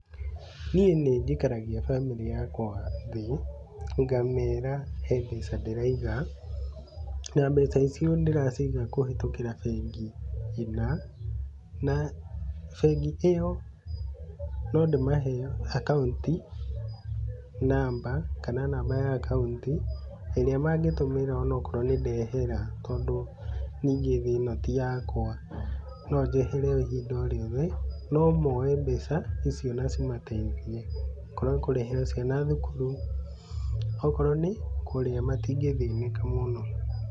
Niĩ nĩ njikaragia bamĩrĩ yakwa thĩ, ngamera he mbeca ndĩraiga na mbeca icio ndĩraciga kũhĩtũkira bengi ĩ na, na bengi iyo no ndĩmahe akaunti namba, kana namba ya akaunti ĩrĩa mangĩtũmĩra ona okorwo nĩ ndehera, tondũ ningĩ thĩ ĩno ti yakwa, no njehere ihinda o rĩothe, no moe mbeca icio na cĩmateithie, okorwo kũrĩhĩra ciana thukuru, okorwo nĩ kũrĩa matĩngĩthĩnĩka mũno.